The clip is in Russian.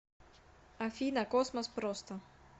афина космос просто